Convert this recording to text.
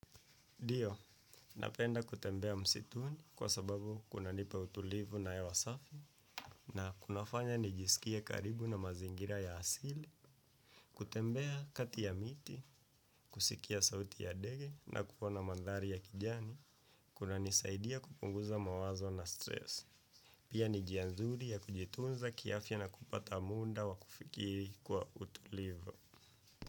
Ndio, napenda kutembea msituni kwa sababu kuna nipa utulivu na hewa wasafi na kunafanya nijisikie karibu na mazingira ya asili, kutembea kati ya miti, kusikia sauti ya ndege na kuona mandhari ya kijani, kuna nisaidia kupunguza mawazo na stress. Pia ni njia nzuri ya kujitunza kiafya na kupata munda wa kufikiri kwa utulivu.